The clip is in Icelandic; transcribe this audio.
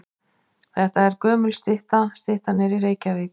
Þetta er gömul stytta. Styttan er í Reykjavík.